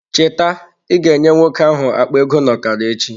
Cheta ịga nye nwoke ahụ akpa ego n'okara echi